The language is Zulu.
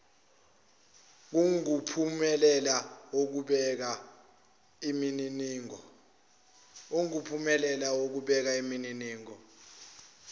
kungumphumela wokubeka imininingo